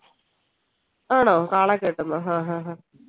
ആണോ കെട്ടുന്നോ ആഹ്ഹ്ഹ